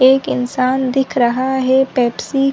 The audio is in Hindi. एक इंसान दिख रहा है पेप्सी --